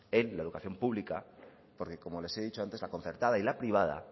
en la educación pública porque como les he dicho antes la concertada y la privada